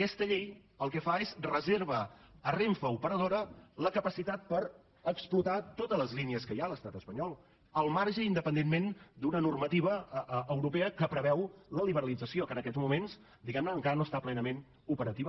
aquesta llei el que fa és reserva a renfe operadora la capacitat per explotar totes les línies que hi ha a l’estat espanyol al marge independentment d’una normativa europea que preveu la liberalització que en aquests moments diguem ne encara no està plenament operativa